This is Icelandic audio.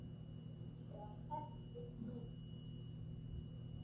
Ertu á föstu núna?